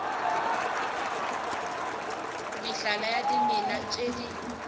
mehlala ya dimela tše di